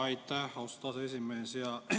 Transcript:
Aitäh, austatud aseesimees!